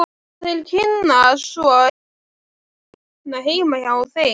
Og þeir kynnast svo innbyrðis þarna heima hjá þeim.